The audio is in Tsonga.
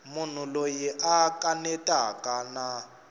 munhu loyi a kanetaka na